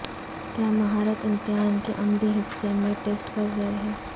کیا مہارت امتحان کے عملی حصے میں ٹیسٹ کر رہے ہیں